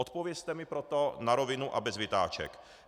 Odpovězte mi proto na rovinu a bez vytáček.